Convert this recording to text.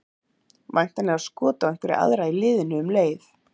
Væntanlega skot á einhverja aðra í liðinu um leið.